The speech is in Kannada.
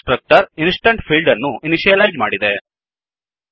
ಕನ್ಸ್ ಟ್ರಕ್ಟರ್ ಇನ್ಸ್ ಟೆನ್ಸ್ ಫೀಲ್ಡ್ ಅನ್ನು ಇನಿಷಿಯಲೈಜ್ ಮಾಡಿದೆ